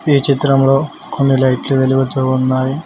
ఈ చిత్రంలో కొన్ని లైట్లు వెలుగుతూ ఉన్నాయి.